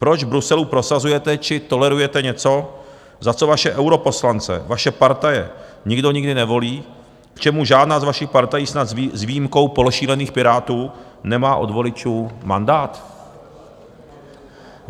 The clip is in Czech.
Proč v Bruselu prosazujete či tolerujete něco, za co vaše europoslance, vaše partaje, nikdo nikdy nevolil, k čemu žádná z vašich partají, snad s výjimkou pološílených Pirátů, nemá od voličů mandát?